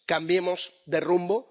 Cambiemos de rumbo.